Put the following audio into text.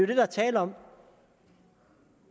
det der er tale om